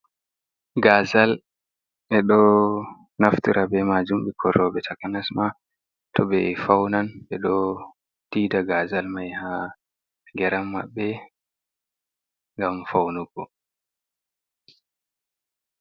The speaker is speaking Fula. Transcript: Gazal, ɓe ɗo naftira ɓe majum ɓikkoi roɓe. Takanas ma to be faunan, ɓe ɗo tiiɗa gazal mai ha geram maɓɓe ngam faunugo.